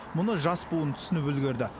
мұны жас буын түсініп үлгерді